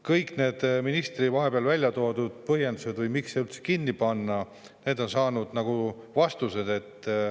Kõik need ministri välja toodud põhjendused, miks see üldse kinni panna, on saanud nagu vastused.